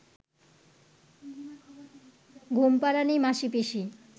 ঘুমপাড়ানি মাসীপিসী